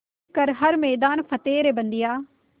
कर हर मैदान फ़तेह रे बंदेया